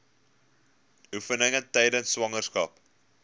oefeninge tydens swangerskap